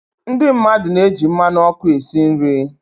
Ndị mmadụ na-eji mmanụ ọkụ esi nri.